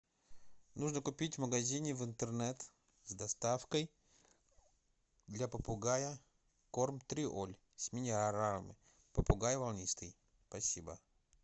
нужно купить в магазине в интернет с доставкой для попугая корм триоль с минералами попугай волнистый спасибо